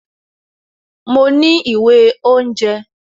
Mo ní ìwé oúnjẹ